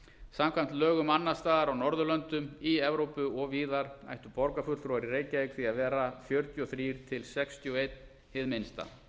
samkvæmt lögum annars staðar á norðurlöndum í evrópu og víðar ættu borgarfulltrúar í reykjavík því að vera fjörutíu og þrjú til sextíu og eitt hið minnsta